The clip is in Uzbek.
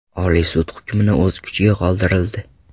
Oliy sud hukmni o‘z kuchida qoldirildi.